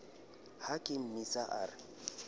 ha ke mmotsa a re